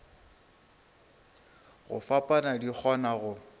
go fapana di kgona go